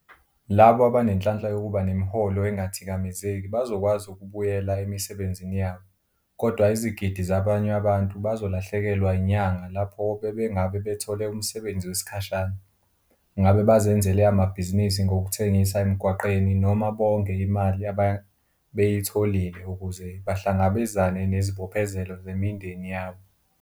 Labo abanenhlanhla yokuba nemiholo engathikamezeki bazokwazi ukubuyela emisebenzini yabo, kodwa izigidi zabanye abantu bazolahlekelwa inyanga lapho bebengabe bethole umsebenzi wesikhashana, ngabe bazenzele amabhizinisi ngokuthengisa emgwaqeni noma bonge imali ababeyitholile ukuze bahlangabezane nezibophezelo zemindeni yabo.